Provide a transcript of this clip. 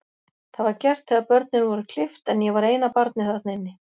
Það var gert þegar börnin voru klippt, en ég var eina barnið þarna inni.